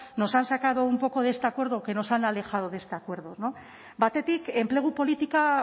nos han sacado un poco de este acuerdo que nos han alejado de este acuerdo batetik enplegu politika